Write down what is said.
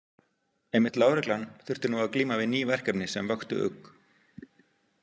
Einmitt lögreglan þurfti nú að glíma við ný verkefni sem vöktu ugg.